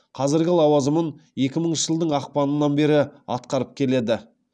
қазіргі лауазымын екі мыңыншы жылдың ақпанынан бері атқарып келеді